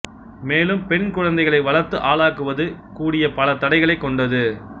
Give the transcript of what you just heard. மேலும் பெண் குழந்தைகளை வளர்த்து ஆளாக்குவது கூடிய பல தடைகளைக் கொண்டது